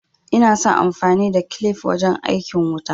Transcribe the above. Ina son amfani da farin kilif wajen aikin wuta